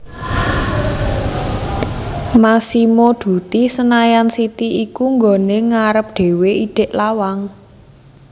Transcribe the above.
Massimo Dutti Senayan City iku nggone ngarep dewe idek lawang